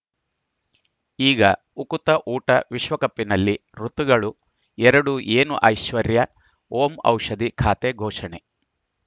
ಈಗ ಉಕುತ ಊಟ ವಿಶ್ವಕಪ್‌ನಲ್ಲಿ ಋತುಗಳು ಎರಡು ಏನು ಐಶ್ವರ್ಯಾ ಓಂ ಔಷಧಿ ಖಾತೆ ಘೋಷಣೆ